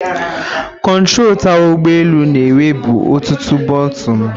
Kontrọ tawa ụgbọ elu na-enwebu ọtụtụ bọtịnụ.